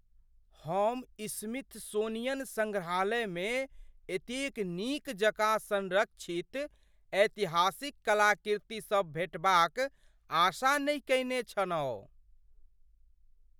हम स्मिथसोनियन सङ्ग्रहालयमे एतेक नीक जकाँ संरक्षित्त ऐतिहासिक कलाकृतिसभ भेंटबाक आशा नहि केने छलहुँ।